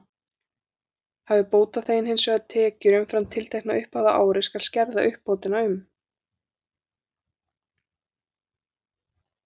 Hafi bótaþeginn hins vegar tekjur umfram tiltekna upphæð á ári, skal skerða uppbótina um